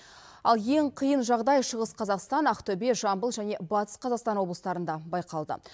ал ең қиын жағдай шығыс қазақстан ақтөбе жамбыл және батыс қазақстан облыстарында байқалды